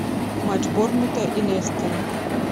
матч борнмута и лестера